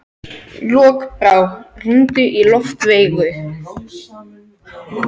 Lokbrá, hringdu í Loftveigu.